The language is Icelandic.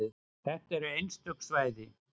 Þetta eru einstök svæði.